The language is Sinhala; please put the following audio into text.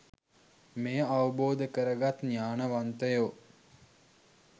මෙය අවබෝධ කරගත් ඥානවන්තයෝ